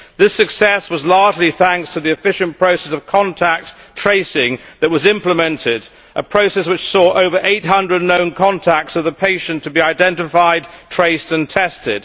This success was largely thanks to the efficient process of contact tracing that was implemented a process which made it possible for over 800 known contacts of the patient to be identified, traced and tested.